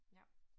Ja